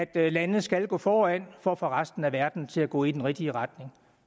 at lande skal gå foran for at få resten af verden til at gå i den rigtige retning